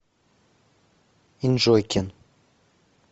энджойкин